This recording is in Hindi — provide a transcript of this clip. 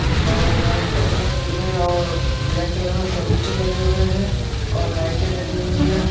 औ व्हाइट कलर में और ब्लैक कलर में फर्नीचर लगे हुए हैं और लाइटें लगी हुईं हैं।